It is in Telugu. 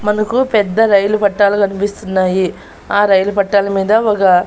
మనకు పెద్ద రైలు పట్టాలు కనిపిస్తున్నాయి ఆ రైలు పట్టాల మీద ఒగ--